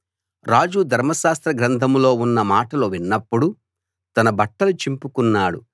రాజు ధర్మశాస్త్ర గ్రంథంలో ఉన్న మాటలు విన్నప్పుడు తన బట్టలు చింపుకున్నాడు